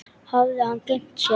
Hafði hann gleymt sér?